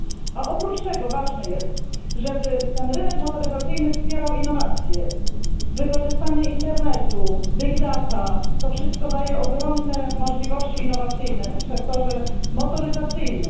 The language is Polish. A oprócz tego ważne jest, żeby ten rynek motoryzacyjny wspierał innowacje wykorzystanie internetu, big data to wszystko daje ogromne możliwości innowacyjne w sektorze motoryzacyjnym.